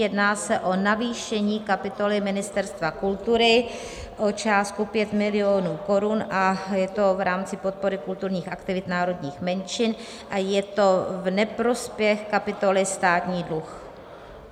Jedná se o navýšení kapitoly Ministerstva kultury o částku 5 milionů korun a je to v rámci podpory kulturních aktivit národních menšin a je to v neprospěch kapitoly Státní dluh.